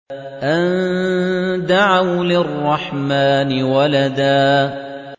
أَن دَعَوْا لِلرَّحْمَٰنِ وَلَدًا